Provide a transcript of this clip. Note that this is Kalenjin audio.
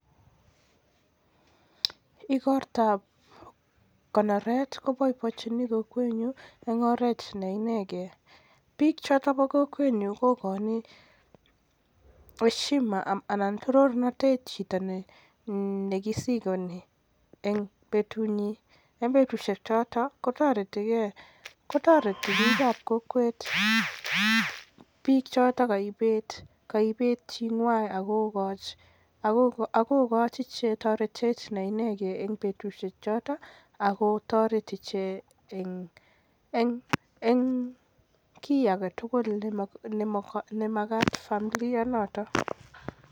Ikortab konoret kobaibaenjin kowenyun en oret ne inegei, biik chotok chebo kowenyun kokoin heshima anan torornotet chito nekisikoni en betunyi, en betusiek chotok kotoreti biik ab kokwet biik chotok koibet chi ng'wan akokochi toretet neinegei en betusiek chotok ako toreti ichek en kiagetugul nemokyingei familia notok.